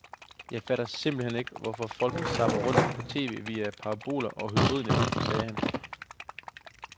Jeg fatter simpelt hen ikke, hvorfor folk zapper rundt på tv via paraboler og hybridnet, sagde han.